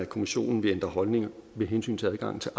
kommissionen vil ændre holdning med hensyn til adgangen til